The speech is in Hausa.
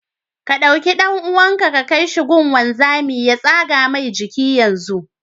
Ka ɗau ɗan'uwanka ka kaishi gun gunzami ya tsaga Mai jiki yanzu.